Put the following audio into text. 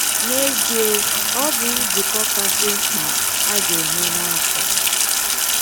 N’ezie, ọ bụ nzukọ kasị mkpa a ga-enwe n’afọ.